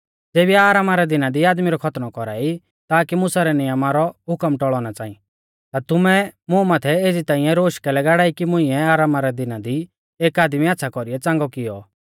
ज़ेबी आरामा रै दिना दी आदमी रौ खतनौ कौरा ई ताकि मुसा रै नियमा रौ हुकम टौल़ौ ना च़ांई ता तुमै मुं माथै एज़ी ताइंऐ रोश कैलै गाड़ाई कि मुंइऐ आरामा रै दिना दी एक आदमी आच़्छ़ा कौरीऐ च़ांगौ किऔ